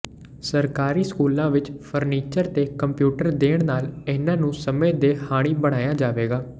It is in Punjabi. ਸਰਕਾਰੀ ਸਕੂਲਾਂ ਵਿਚ ਫ਼ਰਨੀਚਰ ਤੇ ਕੰਪਿਊਟਰ ਦੇਣ ਨਾਲ ਇਨ੍ਹਾਂ ਨੂੰ ਸਮੇਂ ਦੇ ਹਾਣੀ ਬਣਾਇਆ ਜਾਵੇਗਾ